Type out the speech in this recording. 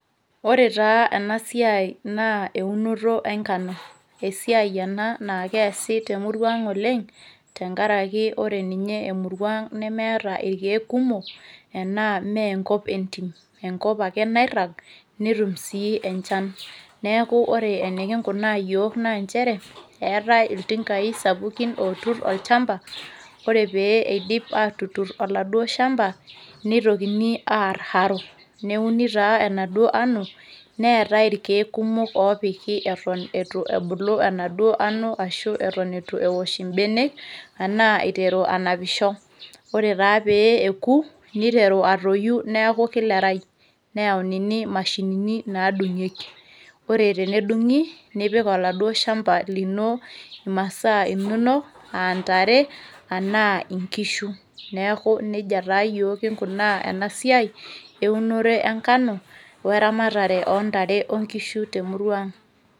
ore taa ena siai naa eunoto enkano esiai ena naa keesi temurua ang oleng tenkaraki ore ninye emurua ang nemeeta irkeek kumok enaa meenkop entim enkop ake nairrag netum sii enchan neeku ore enikinkunaa yiok naa nchere eetae iltinkai sapukin oturr olchamba ore pee eidip atuturr oladuo shamba neitokini arr haro neuni taa enaduo ano neetae irkeek kumok opiki eton etu ebulu enaduo ano ashu eton etu ewosh imbenek anaa iteru anapisho ore taa pee eku niteru atoyu neeku kilerai neyaunini imashinini nadung'ieki ore tenedung'i nipik oladuo shamba lino imasaa inonok antare anaa inkishu neeku nejia taa yiok kinkunaa ena siai eunore enkano weramatare ontare onkishu temurua ang.